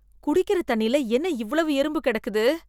குடிக்கிற தண்ணில என்ன இவ்வளவு எறும்பு கிடக்குது